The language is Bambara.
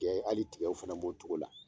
Gɛ ali tigɛw fɛnɛ b'o togo la